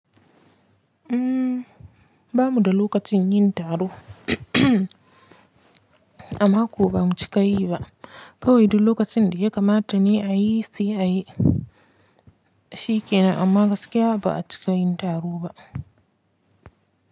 Ba mu da lokacin yin taro amako bamu cika yi ba. Kawai duk lokacin da ya kamata ne ayi sai ayi shikenan amma gaskiya ba a cika yin taro ba.